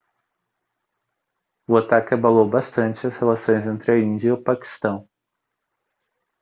o ataque abalou bastante as relações entre a índia e o paquistão